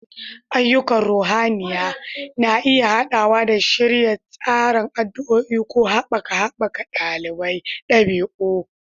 Ayyukan ruhaniya na iya haɗawa da shirya taron addu'a ko haɓaka haɓaka ɗabi'a.